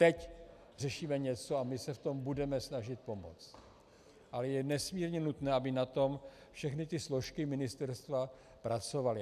Teď řešíme něco, a my se v tom budeme snažit pomoci, ale je nesmírně nutné, aby na tom všechny ty složky ministerstva pracovaly.